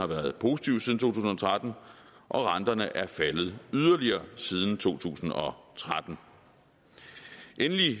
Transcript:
været positiv siden to tusind og tretten og renterne er faldet yderligere siden to tusind og tretten endelig